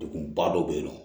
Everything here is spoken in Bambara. Degunba dɔ bɛ yen nɔ